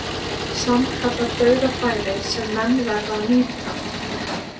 Sannkallað dauðafæri sem menn verða að nýta.